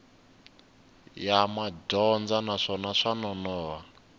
ya madyondza naswona swa nonoha